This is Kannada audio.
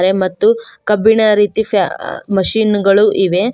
ಮತ್ತು ಕಬ್ಬಿನ ರೀತಿ ಪ್ಯಾ ಮಷೀನ್ ಗಳು ಇವೆ.